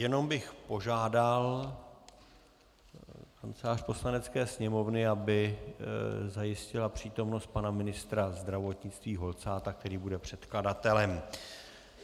Jenom bych požádal Kancelář Poslanecké sněmovny, aby zajistila přítomnost pana ministra zdravotnictví Holcáta, který bude předkladatelem.